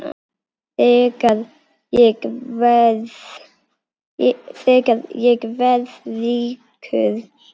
Þegar ég verð ríkur.